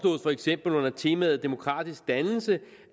for eksempel under temaet demokratisk dannelse